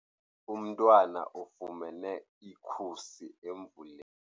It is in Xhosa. Umntwana ufumene ikhusi emvuleni.